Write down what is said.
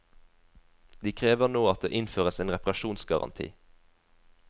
De krever nå at det innføres en reparasjonsgaranti.